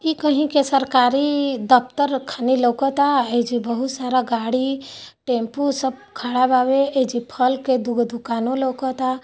इ कही सरकारी दफ्तर का लगत आहे जे बहुत सारा गाड़ी टेम्पू सब खड़ा ववे एजे फल के दुगो दुकान लगत है।